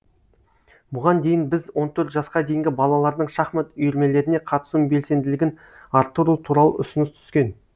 бұған дейін біз он төрт жасқа дейінгі балалардың шахмат үйірмелеріне қатысу белсенділігін арттыру туралы ұсыныс түскен